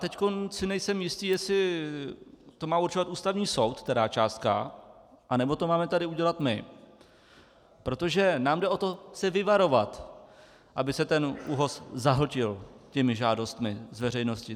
Teď si nejsem jistý, jestli to má určovat Ústavní soud, která částka, anebo to máme tady udělat my, protože nám jde o to se vyvarovat, aby se ten ÚOHS zahltil těmi žádostmi z veřejnosti.